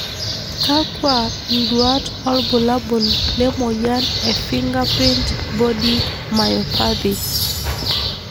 Kakwa nduat wobulabul le moyian ee fingerprint body myopathy?